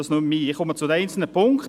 Ich komme zu den einzelnen Punkten.